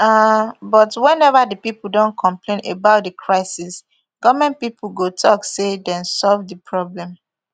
um but wenever di pipo don complain about di crisis goment pipo go tok say dem solve di problem